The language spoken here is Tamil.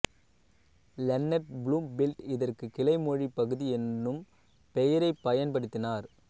லென்னர்ட் புளூம்ஃபீல்ட் இதற்குக் கிளைமொழிப் பகுதி என்னும் பெயரைப் பயன்படுத்தினார்